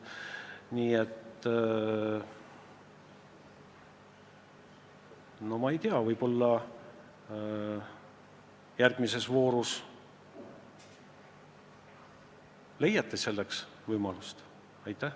Nii et, ma ei tea, võib-olla järgmises voorus leiate selleks võimaluse.